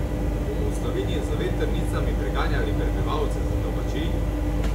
Bomo v Sloveniji z vetrnicami preganjali prebivalce z domačij?